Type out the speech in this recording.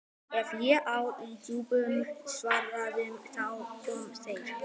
Ef ég á í djúpum samræðum, þá koma þeir.